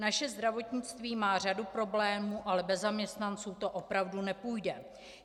Naše zdravotnictví má řadu problémů, ale bez zaměstnanců to opravdu nepůjde.